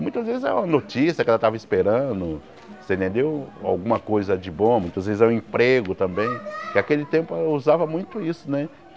Muitas vezes era uma notícia que ela estava esperando você entendeu, alguma coisa de bom, muitas vezes é um emprego também, que aquele tempo usava muito isso né.